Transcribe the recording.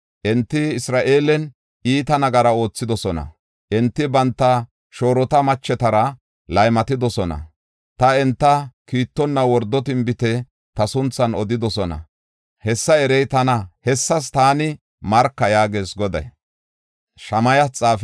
Enti Isra7eelen iita nagara oothidosona. Enti banta shoorota machetara laymatidosona; ta enta kiittonna wordo tinbite ta sunthan odidosona. Hessa erey tana; hessas taani marka” yaagees Goday.